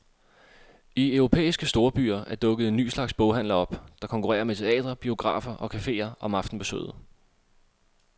I europæiske storbyer er dukket en ny slags boghandler op, der konkurrerer med teatre, biografer og caféer om aftenbesøget.